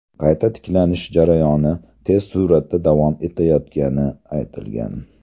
Qayta tiklanish jarayoni tez suratda davom etayotgani aytilgan.